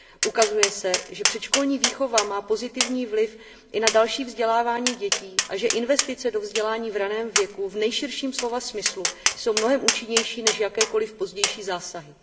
Ukazuje se, že předškolní výchova má pozitivní vliv i na další vzdělávání dětí a že investice do vzdělání v ranném věku v nejširším slova smyslu jsou mnohem účinnější než jakékoliv pozdější zásahy.